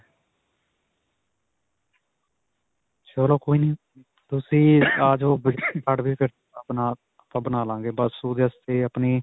ਚਲੋ ਕੋਈ ਨਹੀਂ, ਤੁਸੀਂ ਆ ਜਵੋ. card ਆਪਣਾ ਆਪਾਂ ਬਣਾ ਲਵਾਂਗੇ. ਬਸ ਓਦੇ ਵਾਸਤੇ ਆਪਣੀ,